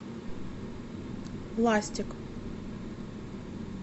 ластик